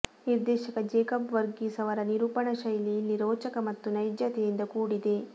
ನಿರ್ದೇಶಕ ಜೇಕಬ್ ವರ್ಗೀಸ್ ಅವರ ನಿರೂಪಣಾ ಶೈಲಿ ಇಲ್ಲಿ ರೋಚಕ ಮತ್ತು ನೈಜತೆಯಿಂದ ಕೂಡಿದೆ